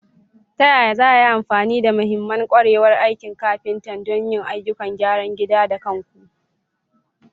Ta yaya za a yi amfani da mahimman ƙwarewar aikin kafinta don yin ayyukan gyaran gida da kanku?